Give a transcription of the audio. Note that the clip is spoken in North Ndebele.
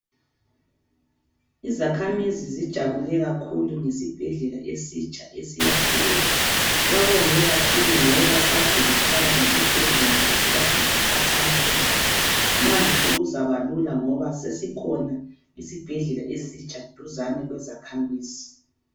Izakhamuzi zijabule kakhulu ngesibhedlela esitsha esiyakhiweyo. Babonge kakhulu ngoba kade bekhala ngesibhedlela esikade sikhatshana kulabo. Manje sekuzaba lula ngoba sesikhona isibhedlela esitsha duzane lezakhamizi.